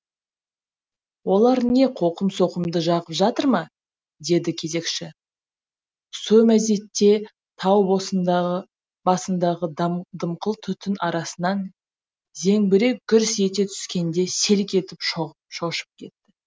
олар не коқым соқымды жағып жатыр ма деді кезекші со мезетте тау басындағы дымқыл түтін арасынан зеңбірек гүрс ете түскенде селк етіп шошып кетті